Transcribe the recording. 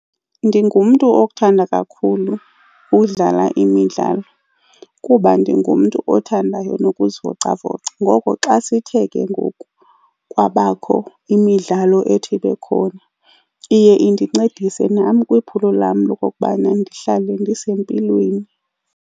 Ndingumntu othanda kakhulu udlala imidlalo kuba ndingumntu othandayo nokuzivocavoca. Ngoko xa sithe ke ngoku kwabakho imidlalo ethi ibe khona, iye indincedisa nam kwiphulo lam lokokubana ndihlale ndisempilweni.